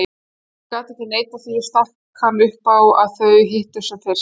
Þegar hún gat ekki neitað því stakk hann upp á að þau hittust sem fyrst.